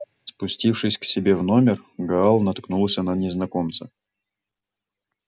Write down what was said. спустившись к себе в номер гаал наткнулся на незнакомца